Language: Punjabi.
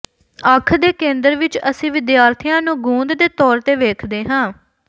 ਅੱਖ ਦੇ ਕੇਂਦਰ ਵਿੱਚ ਅਸੀਂ ਵਿਦਿਆਰਥੀਆਂ ਨੂੰ ਗੂੰਦ ਦੇ ਤੌਰ ਤੇ ਵੇਖਦੇ ਹਾਂ